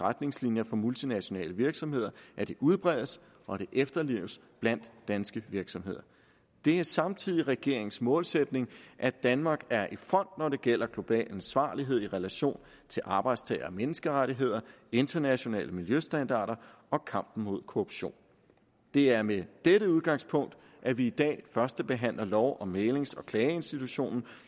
retningslinjer for multinationale virksomheder udbredes og efterleves blandt danske virksomheder det er samtidig regeringens målsætning at danmark er i front når det gælder global ansvarlighed i relation til arbejdstager og menneskerettigheder internationale miljøstandarder og kampen mod korruption det er med dette udgangspunkt at vi i dag førstebehandler lov om mæglings og klageinstitutionen